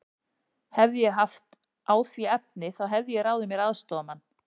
Hefði ég haft á því efni, þá hefði ég ráðið mér aðstoðarmann.